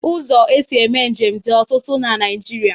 Ụzọ e si eme njem dị ọtụtụ na Naịjirịa.